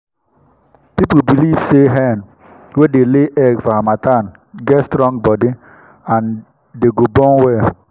people belive say hen wey dey lay egg for harmattan get strong body and dey go born well.